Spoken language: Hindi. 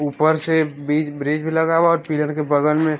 ऊपर से बिच ब्रिज लगा हुआ हे पिलर के बगल में--